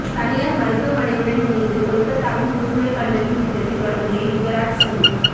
தனியார் மருத்தவமனையுடன் இணைந்து கொல்கத்தாவில் புற்றுநோய் கண்டறியும் திட்டத்தை தொடங்கிய யுவராஜ் சிங்